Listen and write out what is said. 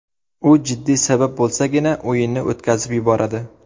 U jiddiy sabab bo‘lsagina o‘yinni o‘tkazib yuboradi.